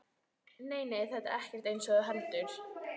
Nei, nei, þetta er ekkert eins og þú heldur.